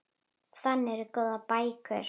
Þannig eru góðar bækur.